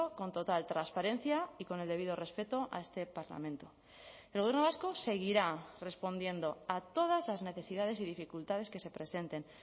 con total transparencia y con el debido respeto a este parlamento el gobierno vasco seguirá respondiendo a todas las necesidades y dificultades que se presenten